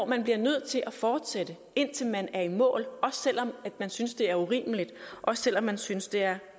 man bliver nødt til at fortsætte indtil man er i mål også selv om man synes det er urimeligt også selv om man synes det er